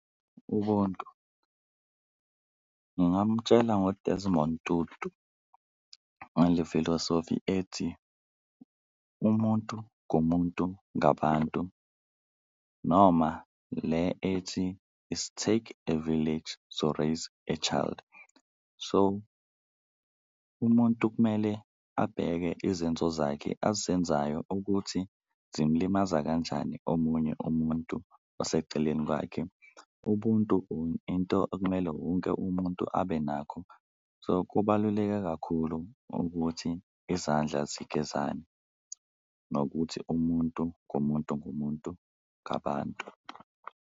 Ubuntu ngingamutshela ngo-Desmond Tutu ngale filosofi ethi, umuntu ngumuntu ngabantu noma le ethi, it take a village to raise a child. So, umuntu kumele abheke izenzo zakhe azenzayo ukuthi zimlimaza kanjani omunye umuntu oseceleni kwakhe, ubuntu into okumele wonke umuntu abe nakho. So, kubaluleke kakhulu ukuthi izandla zigezane nokuthi umuntu ngumuntu ngumuntu ngabantu.